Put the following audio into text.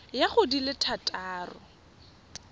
ya go di le thataro